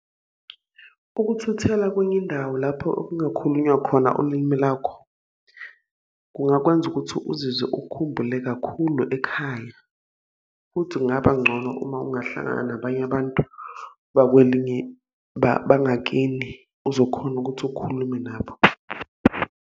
Ukuthuthela kwenye indawo lapho okungakhulunywa khona ulimi lakho, kungakwenza ukuthi uzizwe ukhumbule kakhulu ekhaya. Futhi kungaba ngcono uma ungahlangana nabanye abantu bekwelinye bangakini uzokhona ukuthi ukhulume nabo.